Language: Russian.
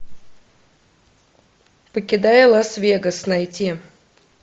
покидая лас вегас найти